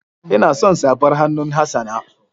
Ina son safar hannun Hassana.